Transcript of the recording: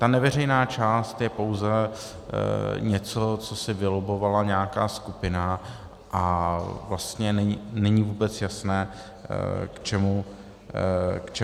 Ta neveřejná část je pouze něco, co si vylobbovala nějaká skupina, a vlastně není vůbec jasné, k čemu to je.